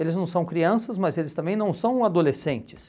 Eles não são crianças, mas eles também não são adolescentes.